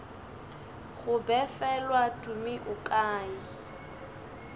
go befelwa tumi o kae